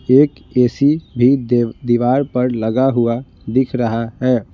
एक ए_सी भी दीवार पर लगा हुआ दिख रहा है।